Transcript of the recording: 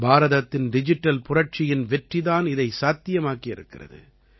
பாரதத்தின் டிஜிட்டல் புரட்சியின் வெற்றி தான் இதை சாத்தியமாக்கி இருக்கிறது